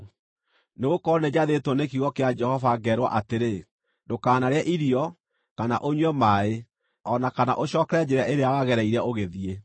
Nĩgũkorwo nĩnjathĩtwo nĩ kiugo kĩa Jehova, ngeerwo atĩrĩ, ‘Ndũkanarĩe irio, kana ũnyue maaĩ, o na kana ũcookere njĩra ĩrĩa wagereire ũgĩthiĩ.’ ”